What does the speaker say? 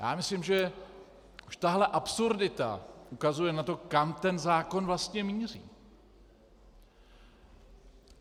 Já myslím, že už tahle absurdita ukazuje na to, kam ten zákon vlastně míří.